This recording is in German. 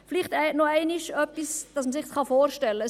Vielleicht noch einmal etwas, damit man es sich vorstellen kann.